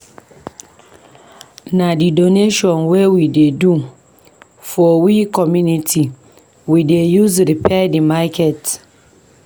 Na di donation wey we do for we community we dey use repair di market.